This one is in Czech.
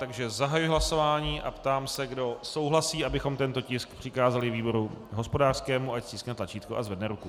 Takže zahajuji hlasování a ptám se, kdo souhlasí, abychom tento tisk přikázali výboru hospodářskému, ať stiskne tlačítko a zvedne ruku.